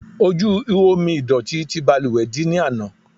Ojú ihò omi ìdọ̀tí ti ìbalùwẹ̀ dí ní ana.